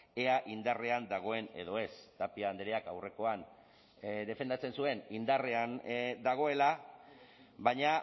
ea indarrean dagoen edo ez tapia andreak aurrekoan defendatzen zuen indarrean dagoela baina